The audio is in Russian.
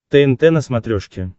тнт на смотрешке